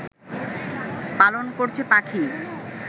পালন করছে পাখি